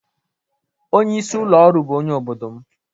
Onye isi ụlọ ọrụ bụ onye obodo m